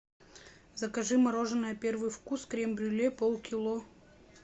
закажи мороженое первый вкус крем брюле полкило